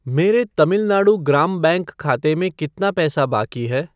मेरे तमिल नाडु ग्राम बैंक खाते में कितना पैसा बाकी है?